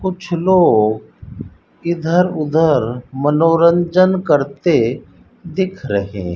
कुछ लोग इधर उधर मनोरंजन करते दिख रहे--